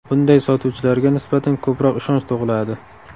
Bunday sotuvchilarga nisbatan ko‘proq ishonch tug‘iladi.